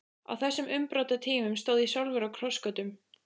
Á þessum umbrotatímum stóð ég sjálfur á krossgötum.